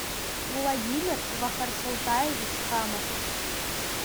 владимир вахарсолтаевич хамов